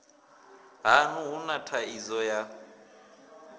haṋu hu na thaidzo ya